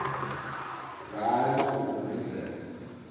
ngayo emagugu nendlela